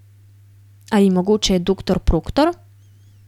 Ali mogoče doktor Proktor?